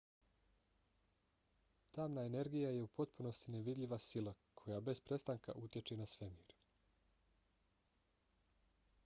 tamna energija je u potpunosti nevidljiva sila koja bez prestanka utječe na svemir